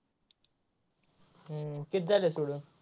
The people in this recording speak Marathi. हम्म किती झाल्या सोडवून.